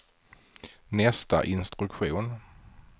nästa instruktion